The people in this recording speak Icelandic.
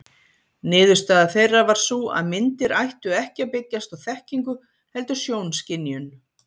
Niðurstaða þeirra var sú að myndir ættu ekki að byggjast á þekkingu heldur sjónskynjun.